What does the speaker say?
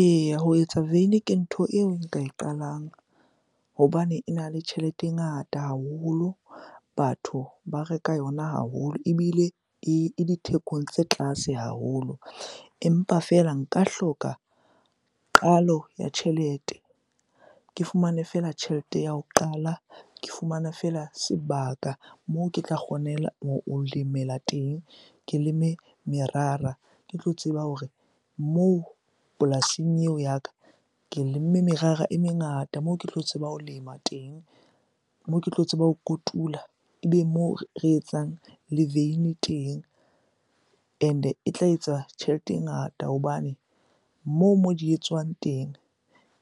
Eya, ho etsa veini ke ntho eo nka e qalang hobane ena le tjhelete e ngata haholo. Batho ba reka yona haholo ebile e dithekong tse tlase haholo. Empa fela nka hloka qalo ya tjhelete, ke fumane fela tjhelete ya ho qala, ke fumana fela sebaka moo ke tla ho lemela teng. Ke leme merara, ke tlo tseba hore moo polasing eo ya ka ke lemme merara e mengata moo ke tlo tseba ho lema teng, moo ke tlo tseba ho kotula. Ebe moo re etsang le veine teng and-e e tla etsa tjhelete e ngata hobane moo mo di etswang teng,